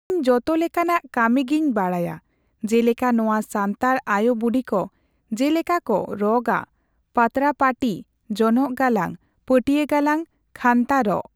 ᱤᱧ ᱡᱚᱛᱚ ᱞᱮᱠᱟᱱᱟᱜ ᱠᱟᱹᱢᱤᱜᱤᱧ ᱵᱟᱲᱟᱭᱟ ᱡᱮᱞᱮᱠᱟ ᱱᱚᱣᱟ ᱥᱟᱱᱛᱟᱲ ᱟᱭᱩ ᱵᱩᱰᱤᱠᱚ ᱡᱮᱞᱮᱠᱟᱠᱚ ᱨᱚᱜᱼᱟ ᱯᱟᱛᱲᱟ ᱯᱟᱹᱴᱤ ᱡᱚᱱᱚᱜ ᱜᱟᱞᱟᱝ ᱯᱟᱹᱴᱭᱟᱹ ᱜᱟᱞᱟᱝ ᱠᱷᱟᱱᱛᱟ ᱨᱚᱜ᱾